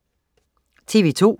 TV2: